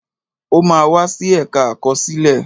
O máa wá sí ẹ̀ka àkọsílẹ̀